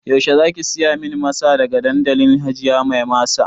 Yaushe zaki siya min masa daga dandalin hajiya mai masa